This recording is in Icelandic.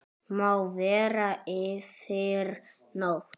Má vera yfir nótt.